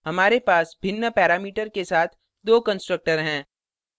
हमारे पास भिन्न पैरामीटर के साथ दो constructors हैं